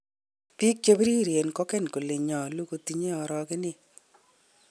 Pik che piriren koken kole nyalu kotinye arangenet